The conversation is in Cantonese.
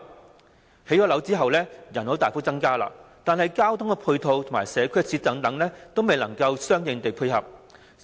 在興建住宅樓宇後，人口便會大幅增加，但交通配套及社區設施等均未能相應地配合。